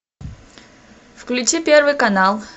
включи первый канал